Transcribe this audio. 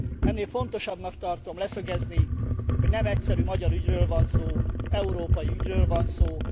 Ennél fontosabbnak tartom leszögezni, hogy nem egyszerű magyar ügyről van szó, európai ügyről van szó!